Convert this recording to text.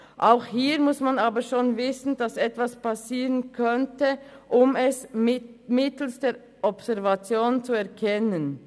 Auch hier muss man aber schon wissen, dass etwas passieren könnte, um es mittels der Observation zu erkennen.